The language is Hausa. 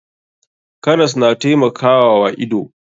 Karas na taimakawa wa ido.